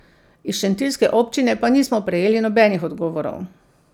Iz šentiljske občine pa nismo prejeli nobenih odgovorov.